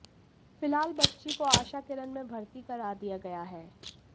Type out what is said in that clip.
फिलहाल बच्ची को आशा किरण में भर्ती करा दिया गया है